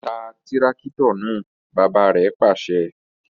Tá tìràkitọ náà! bàbà rẹ pàṣẹ